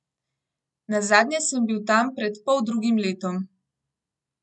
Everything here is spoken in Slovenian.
Nazadnje sem bil tam pred poldrugim letom.